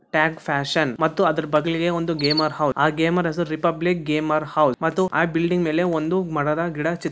tag fashion ಮತ್ತು ಅದರ ಬಗಳಿಗೆ ಒಂದು ಗೇಮಾರ್ ಹೌಸ್ ಆ ಗೇಮಾರ್ ಹೆಸರು ರಿಪಬ್ಲಿಕ್ ಗೇಮಾರ್ ಹೌಸ್ ಮತ್ತು ಆ ಬಿಲ್ಡಿಂಗ್ ಮೇಲೆ ಒಂದು ಮರದ ಗಿಡ ಚಿತ್--